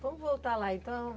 Vamos voltar lá, então.